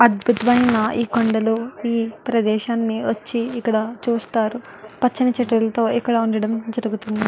అద్భుతమైన ఈ కొండలు ఈ ప్రదేశాన్ని వచ్చి ఇక్కడ చూస్తారు పచ్చని చెట్లతో ఇక్కడ ఉండడం జరుగుతుంది.